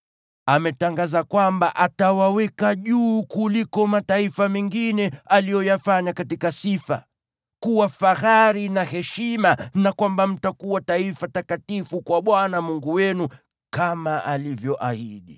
Ametangaza kwamba atawaweka juu kuliko mataifa mengine aliyoyafanya katika sifa, kuwa fahari na heshima, na kwamba mtakuwa taifa takatifu kwa Bwana Mungu wenu, kama alivyoahidi.